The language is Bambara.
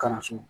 Kalanso